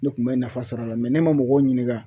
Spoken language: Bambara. Ne kun bɛ nafa sɔr'a la ne ma mɔgɔw ɲininka